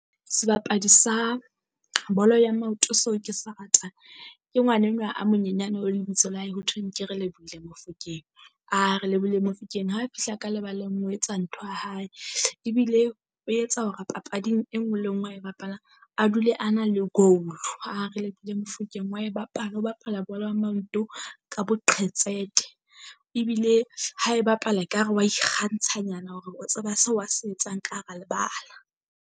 Sebapadi sa bolo ya maoto so ke sa rata ke ngwana enwa a monyenyane o lebitso la hae hothweng ke Relebohile Mofokeng. Relebohile Mofokeng ha fihla ka lebaleng o etsa ntho ya hae, ebile o etsa hore papading e nngwe le ngwe ae bapala, a dule a na le goal. Relebohile Mofokeng wa e bapala o bapala bolo ya manto ka boqhetseke. Ebile ha e bapala ekare wa ikgantsha nyana hore o tseba se a se etsang ka hara lebala.